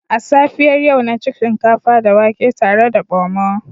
A safiyar yau na ci shinkafa da wake tare da Pomo